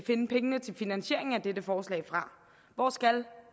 finde pengene til finansieringen af dette forslag fra hvor skal